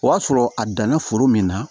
O y'a sɔrɔ a danna foro min na